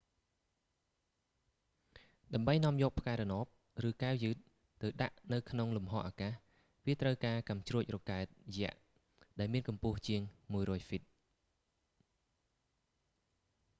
ដើម្បីនាំយកផ្កាយរណប ឬកែវយឺតទៅដាក់នៅក្នុងលំហអាកាស វាត្រូវការកាំជ្រួចរ៉ុកកែតយក្ស ដែលមានកម្ពស់ជាង 100 ហ្វីត